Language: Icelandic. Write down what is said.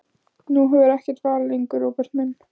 Nú hefurðu ekkert val lengur, Róbert minn.